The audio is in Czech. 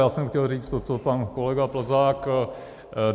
Já jsem chtěl říct to, co pan kolega Plzák.